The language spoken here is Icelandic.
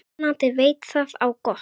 Vonandi veit það á gott.